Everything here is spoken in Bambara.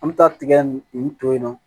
An bɛ taa tigɛ nin to yen nɔ